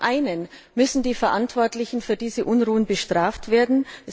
Zum einen müssen die Verantwortlichen für diese Unruhen bestraft werden.